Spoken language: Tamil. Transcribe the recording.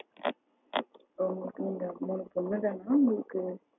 உங்களுக்கு இந்த மூணு பொண்ணு தான உங்களுக்கு